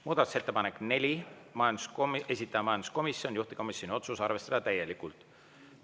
Muudatusettepanek nr 4, esitaja majanduskomisjon, juhtivkomisjoni otsus: arvestada täielikult.